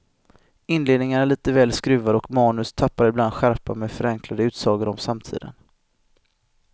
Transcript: Inledningen är lite väl skruvad och manus tappar ibland skärpa med förenklade utsagor om samtiden.